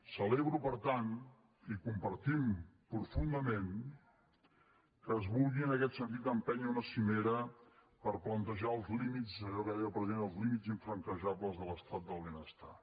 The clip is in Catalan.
celebro per tant i compartim profundament que es vulgui en aquest sentit empènyer una cimera per plantejar els límits allò que en deia el president els límits infranquejables de l’estat del benestar